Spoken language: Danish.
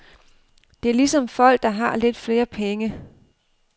Det er ligesom folk, der har lidt flere penge.